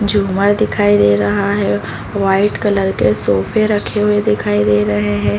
झूमर दिखाई दे रहा है। वाइट कलर के सोफे रखे हुए दिखाई दे रहे हैं।